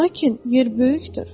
Lakin yer böyükdür.